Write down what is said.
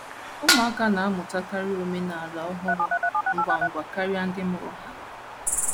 Ụmụaka na - amụtakarị omenala ọhụrụ ngwa ngwa karịa ndị mụrụ ha.